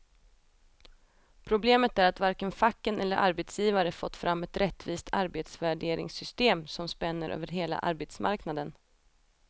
Problemet är att varken facken eller arbetsgivare fått fram ett rättvist arbetsvärderingssystem som spänner över hela arbetsmarknaden.